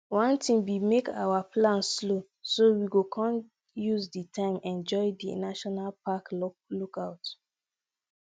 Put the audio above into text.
one tin be make our plan slow so we come use di time enjoy di national park lookout